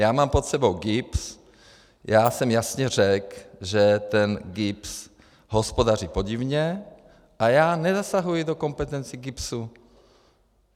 Já mám pod sebou GIBS, já jsem jasně řekl, že ten GIBS hospodaří podivně, a já nezasahuji do kompetencí GIBS.